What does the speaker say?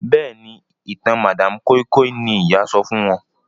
Béèni ìtàn madam koi koi ní ìyá sọfún wón.